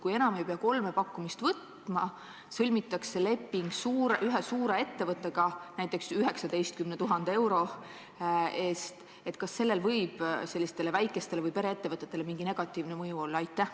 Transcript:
Kui enam ei pea võtma kolme pakkumist ja leping sõlmitakse ühe suure ettevõttega, näiteks 19 000 euro eest, siis kas sellel võib väikestele või pereettevõtetele negatiivne mõju olla?